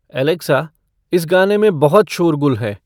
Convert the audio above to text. Alexa इस गाने में बहुत शोरगुल है